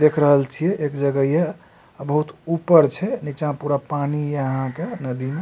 देख रहल छी एक जगह ये अ बहुत ऊपर छे निचा में पूरा पानी यहाँ के नदी में --